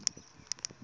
nkuxu wa rhetisa